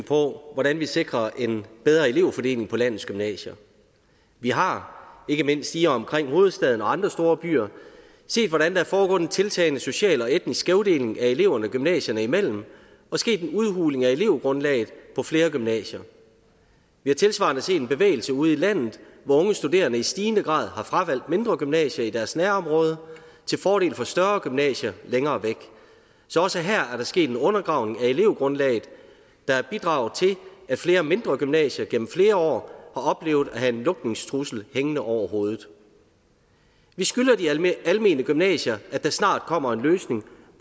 på hvordan vi sikrer en bedre elevfordeling på landets gymnasier vi har ikke mindst i og omkring hovedstaden og andre store byer set hvordan der er foregået en tiltagende social og etnisk skævdeling af eleverne gymnasierne imellem og sket en udhuling af elevgrundlaget på flere gymnasier vi har tilsvarende set en bevægelse ude i landet hvor unge studerende i stigende grad har fravalgt mindre gymnasier i deres nærområde til fordel for større gymnasier længere væk så også her er der sket en undergravning af elevgrundlaget der har bidraget til at flere mindre gymnasier gennem flere år har oplevet at have en lukningstrussel hængende over hovedet vi skylder de almene almene gymnasier at der snart kommer en løsning